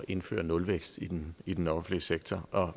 indføre nulvækst i den i den offentlige sektor